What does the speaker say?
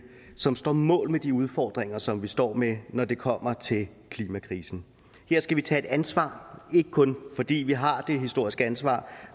som står mål med de udfordringer som vi står med når det kommer til klimakrisen her skal vi tage et ansvar ikke kun fordi vi har det historiske ansvar